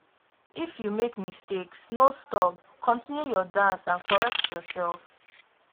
if you make mistakes no stop continue your dance and correct yourself